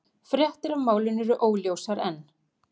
Fréttir af málinu eru óljósar enn